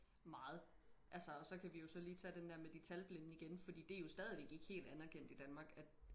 meget altså og så kan vi jo så lige tage den der med de talblinde igen fordi det er jo stadigvæk ikke helt anderkendt i danmark at